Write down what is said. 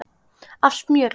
af smjöri.